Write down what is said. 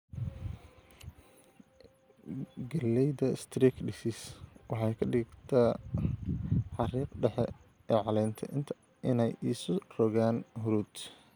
Galleyda Streak Disease waxay ka dhigtaa xariiqda dhexe ee caleenta inay isu rogaan huruud.